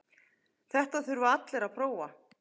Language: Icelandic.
Þetta þurfa allir að prófa.